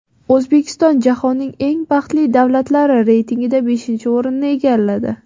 O‘zbekiston jahonning eng baxtli davlatlari reytingida beshinchi o‘rinni egalladi.